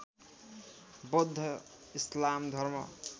बौद्ध इस्लाम धर्म